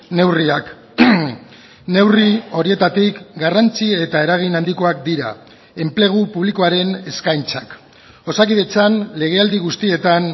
neurriak neurri horietatik garrantzi eta eragin handikoak dira enplegu publikoaren eskaintzak osakidetzan legealdi guztietan